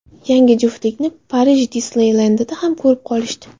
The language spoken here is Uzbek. Yangi juftlikni Parij Disneylendida ham ko‘rib qolishdi.